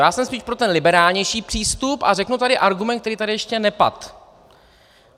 Já jsem spíš pro ten liberálnější přístup a řeknu tady argument, který tady ještě nepadl.